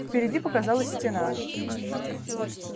впереди показалась стена